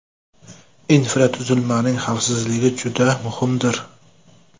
Infratuzilmaning xavfsizligi juda muhimdir.